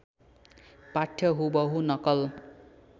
पाठ्य हुबहु नकल